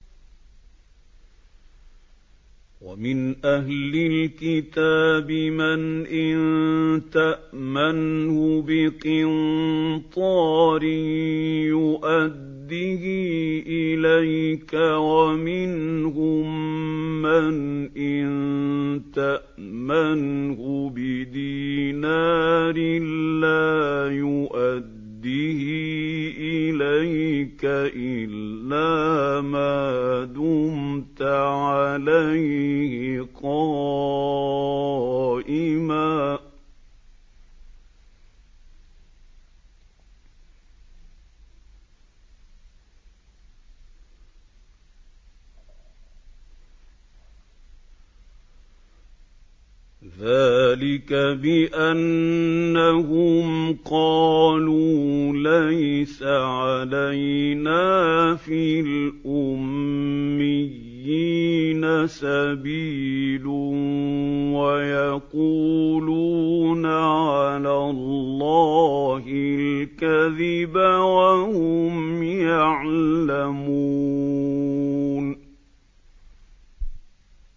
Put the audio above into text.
۞ وَمِنْ أَهْلِ الْكِتَابِ مَنْ إِن تَأْمَنْهُ بِقِنطَارٍ يُؤَدِّهِ إِلَيْكَ وَمِنْهُم مَّنْ إِن تَأْمَنْهُ بِدِينَارٍ لَّا يُؤَدِّهِ إِلَيْكَ إِلَّا مَا دُمْتَ عَلَيْهِ قَائِمًا ۗ ذَٰلِكَ بِأَنَّهُمْ قَالُوا لَيْسَ عَلَيْنَا فِي الْأُمِّيِّينَ سَبِيلٌ وَيَقُولُونَ عَلَى اللَّهِ الْكَذِبَ وَهُمْ يَعْلَمُونَ